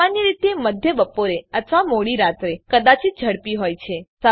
સામાન્ય રીતે મધ્ય બપોરે અથવા મોડી રાત્રે કદાચિત ઝડપી હોય છે